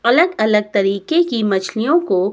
अलग अलग तरीके की मछलियों को--